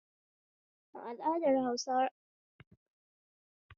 A al'adar Hausa raɗin suna a gida akeyi